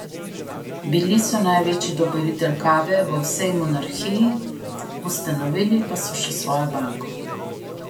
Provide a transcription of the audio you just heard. Bili so največji dobavitelj kave v vsej monarhiji, ustanovili pa so še svojo banko.